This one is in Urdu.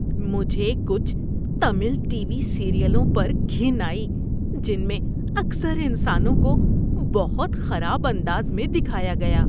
مجھے کچھ تمل ٹی وی سیریلوں پر گھن آئی جن میں اکثر انسانوں کو بہت خراب انداز میں دکھایا گیا۔